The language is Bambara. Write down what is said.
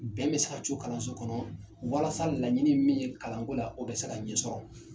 Bɛn bɛ se ka to kalanso kɔnɔ walasa laɲini ye min ye kalanko la o bɛ se ka ɲɛsɔrɔ